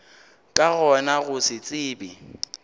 ka gona go se tsebe